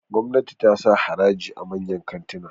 gwamnati ta sa haraji a manyan kantina